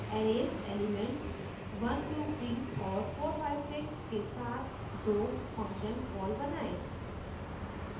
arrays elements 123 और 456 के साथ दो function calls बनाएँ